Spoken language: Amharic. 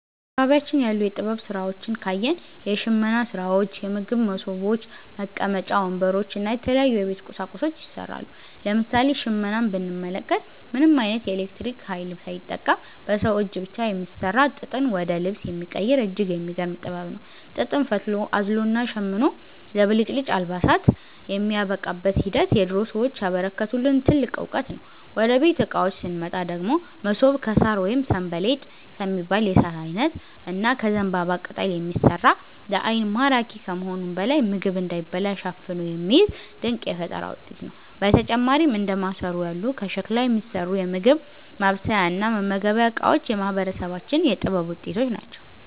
በአካባቢያችን ያሉ የጥበብ ሥራዎችን ካየን፣ የሽመና ሥራዎች፣ የምግብ መሶቦች፣ መቀመጫ ወንበሮች እና የተለያዩ የቤት ቁሳቁሶች ይሠራሉ። ለምሳሌ ሽመናን ብንመለከት፣ ምንም ዓይነት የኤሌክትሪክ ኃይል ሳይጠቀም በሰው እጅ ብቻ የሚሠራ፣ ጥጥን ወደ ልብስ የሚቀይር እጅግ የሚገርም ጥበብ ነው። ጥጥን ፈትሎ፣ አዝሎና ሸምኖ ለብልጭልጭ አልባሳት የሚያበቃበት ሂደት የድሮ ሰዎች ያበረከቱልን ትልቅ ዕውቀት ነው። ወደ ቤት ዕቃዎች ስንመጣ ደግሞ፣ መሶብ ከሣር ወይም 'ሰንበሌጥ' ከሚባል የሣር ዓይነት እና ከዘንባባ ቅጠል የሚሠራ፣ ለዓይን ማራኪ ከመሆኑም በላይ ምግብ እንዳይበላሽ አፍኖ የሚይዝ ድንቅ የፈጠራ ውጤት ነው። በተጨማሪም እንደ ማሰሮ ያሉ ከሸክላ የሚሠሩ የምግብ ማብሰያና መመገቢያ ዕቃዎችም የማህበረሰባችን የጥበብ ውጤቶች ናቸው።